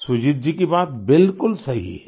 सुजीत जी की बात बिलकुल सही है